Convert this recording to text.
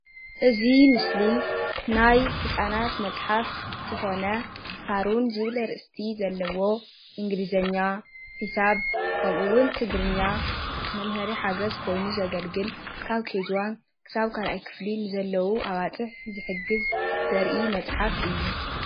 እዚ ምስሊ ናይ ህፃናት መፅሓፍ ዝኾነ ሳሮን ዝብል ኣርእስቲ ዘለዎ እንግሊዘኛ፣ ሒሳብ ከምኡዉን ትግርኛ መምሃሪ ሓገዝ ኮይኑ ዘገልግል ካብ KG1 ክሳብ 2ይ ክፍሊ ንዘለዉ ኣባፅሕ ዝሕግዝ ዘርኢ መፅሓፍ እዩ።